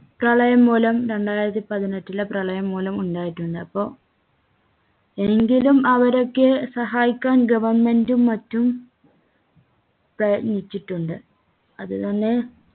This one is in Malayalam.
പ്രളയം മൂലം രണ്ടായിരത്തി പാട്ടിനെറ്റിലെ പ്രളയം മൂലം ഉണ്ടായിട്ടുള്ളത് അപ്പോ എങ്കിലും അവരെയൊക്കെ സഹായിക്കാൻ government ഉം മറ്റും പ്രയത്നിച്ചിട്ടുണ്ട് അത് തന്നെ